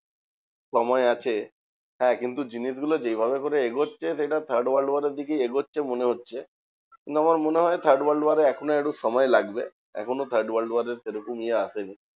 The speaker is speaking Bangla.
সময় আছে হ্যাঁ কিন্তু জিনিসগুলো যেইভাবে করে এগোচ্ছে সেটা third world war এর এগোচ্ছে মনে হচ্ছে। না আমার মনে হয় third world war এ এখনো একটু সময় লাগবে। এখনও third world war এর সেরকম ইয়ে আসেনি।